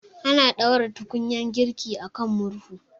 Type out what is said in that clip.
Ana ɗaura tukunyar girki akan murhu